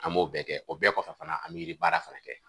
An m'o bɛɛ kɛ o bɛɛ kɔfɛ fana a mɛ yiribaara fana kɛ.